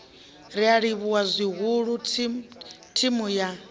ri livhuwa zwihulu thimu ya